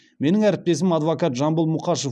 менің әріптесім адвокат жамбыл мұқашев